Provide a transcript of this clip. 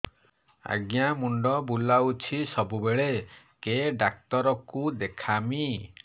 ଆଜ୍ଞା ମୁଣ୍ଡ ବୁଲାଉଛି ସବୁବେଳେ କେ ଡାକ୍ତର କୁ ଦେଖାମି